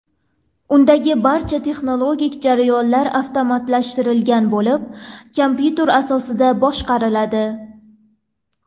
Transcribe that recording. Undagi barcha texnologik jarayonlar avtomatlashtirilgan bo‘lib, kompyuter asosida boshqariladi.